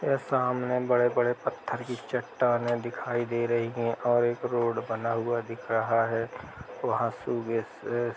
ए सामने बड़े-बड़े पत्थर की चट्टानें दिखाई दे रही हैं और एक रोड बना हुआ दिख रहा है। वहां सुज्ञस --